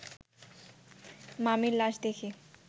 মামির লাশ দেখি